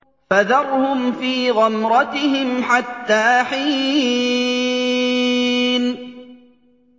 فَذَرْهُمْ فِي غَمْرَتِهِمْ حَتَّىٰ حِينٍ